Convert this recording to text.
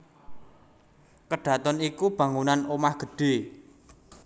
Kedhaton iku bangunan omah gedhé